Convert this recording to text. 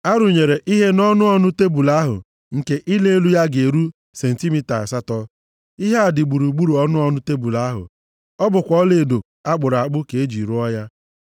A rụnyere ihe nʼọnụ ọnụ tebul ahụ nke ịla elu ya ga-eru sentimita asatọ. Ihe a dị gburugburu ọnụ ọnụ tebul ahụ, ọ bụkwa ọlaedo a kpụrụ akpụ ka e ji rụọ ya.